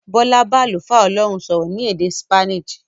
Bọ́lá bá àlùfáà Ọlọ́run sọ̀rọ̀ ní èdè Spanish.